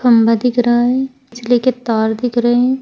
खंबा दिख रहा है। बिजली के तार दिख रहे हैं।